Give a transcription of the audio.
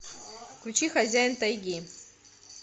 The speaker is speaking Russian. включи хозяин тайги